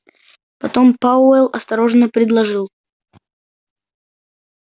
потом пауэлл осторожно предложил